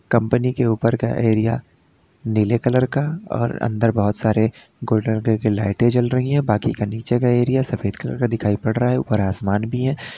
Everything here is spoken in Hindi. कंपनी के ऊपर का एरिया नीले कलर का और अंदर बहुत सारे गोल्डन कलर की लाइटें जल रही हैं बाकी का नीचे का एरिया सफेद कलर का दिखाई पड़ रहा है ऊपर आसमान भी है।